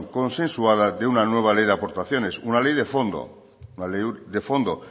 consensuada de una nueva ley de aportaciones una ley de fondo